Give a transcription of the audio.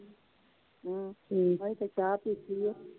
ਹਮ ਅਜੇ ਤੇ ਚਾਹ ਪੀਤੀ ਆ।